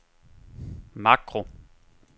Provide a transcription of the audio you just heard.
makro